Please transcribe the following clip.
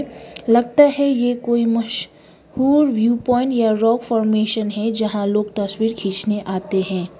लगता है ये कोई मश हूर व्यू प्वाइंट या रॉक फॉर्मेशन है जहां लोग तस्वीर खींचने आते हैं।